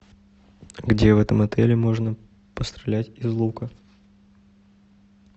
где в этом отеле можно пострелять из лука